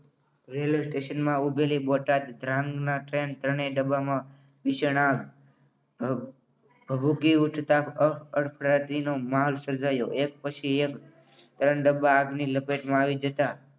Railway station ઊભેલી Botad Dhrangadhra train ત્રણેય ડબ્બામાં ભીષણ આગ અમ ભભૂગી ઉઠતા અફડા તપડીનો માહોલ સર્જાયો. એક પછી એક ત્રણ ડબ્બા આગની ઝપેટમાં આવી જતા